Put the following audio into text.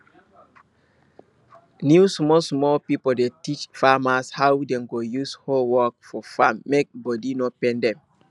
new small small pipo dey teach farmers how dem go use hoe work for farm mek body no pain dem